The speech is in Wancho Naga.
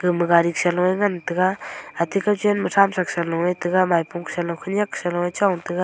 ama gari sa loh ngan taiga ate kao chan ma tham chak sa lo e taga.